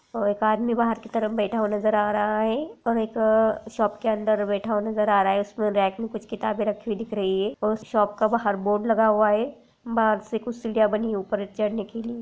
और एक आदमी बाहर की तरफ बैठा हुआ नज़र आ रहा है और एक शॉप के अंदर बैठा हुआ नज़र आ रहा है उसमें रैक में कुछ किताबे रखी हुई दिख रही है और उस शॉप का बाहर बोर्ड लगा हुआ है बाहर से कुछ सीढ़िया बनी है ऊपर चढने के लिए --